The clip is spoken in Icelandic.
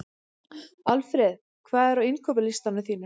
Alfred, hvað er á innkaupalistanum mínum?